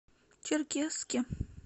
черкесске